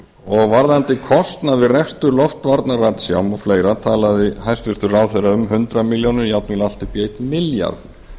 og varðandi kostnað við rekstur loftvarnaratsjá og fleira talaði hæstvirtur ráðherra um hundrað milljóna jafnvel allt upp í einn milljarð